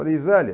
Falei, sélia...